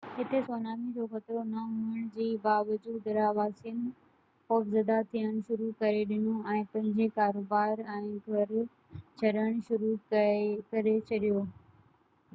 هتي سونامي جو خطرو نه هئڻ جي باوجود رهواسين خوفزده ٿيڻ شروع ڪري ڏنو ۽ پنهنجو ڪاروبار ۽ گهر ڇڏڻ شروع ڪري ڇڏيو